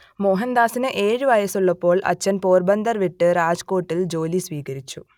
മോഹൻദാസിന് ഏഴു വയസ്സുള്ളപ്പോൾ അച്ഛൻ പോർബന്ദർ വിട്ട് രാജ്കോട്ടിൽ ജോലി സ്വീകരിച്ചു